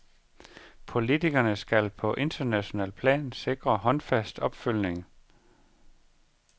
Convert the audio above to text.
Politikerne skal på internationalt plan sikre håndfast opfølgning.